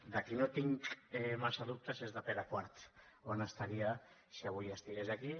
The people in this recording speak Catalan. de qui no tinc massa dubtes és de pere quart d’on estaria si avui estigués aquí